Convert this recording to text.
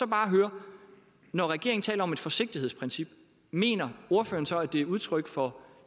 bare høre når regeringen taler om et forsigtighedsprincip mener ordføreren så at det er udtryk for